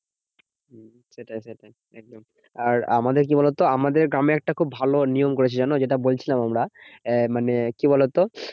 হম সেটাই সেটাই একদম। আর আমাদের কি বলতো? আমাদের গ্রামে একটা খুব ভালো নিয়ম করেছে জানো? যেটা বলছিলাম আমরা, আহ মানে কি বলতো?